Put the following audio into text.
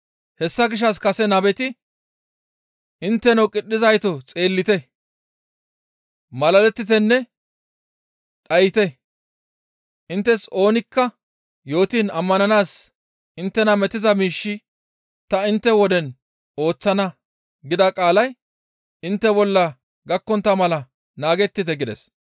Hessa gishshas kase nabeti, « ‹Intteno qidhizayto xeellite, malalettitenne dhayte, inttes oonikka yootiin ammananaas inttena metiza miish ta intte woden ooththana› gida qaalay intte bolla gakkontta mala naagettite» gides.